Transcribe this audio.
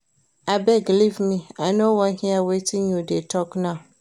Abeg leave me, I no wan hear wetin you dey talk now